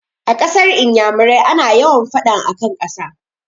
A kasar iyamurai ana yawa faɗan akan ƙasa